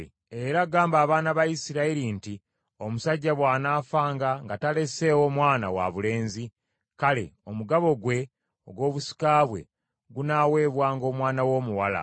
“Era gamba abaana ba Isirayiri nti, ‘Omusajja bw’anaafanga nga taleseewo mwana wabulenzi, kale omugabo gwe ogw’obusika bwe gunaaweebwanga omwana we omuwala.